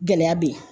Gɛlɛya be yen